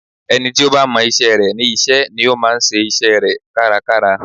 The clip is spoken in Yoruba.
Ẹni tí ó bá mọ isẹ́ rẹ̀ ní iṣẹ́ ni ó máa ń ṣe isẹ́ rẹ̀ kárakára